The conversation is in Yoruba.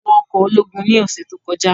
À wọ ọkọ ologun ni ọsẹ to kọja